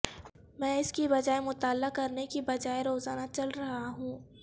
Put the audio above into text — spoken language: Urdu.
میں اس کی بجائے مطالعہ کرنے کی بجائے روزانہ چل رہا ہوں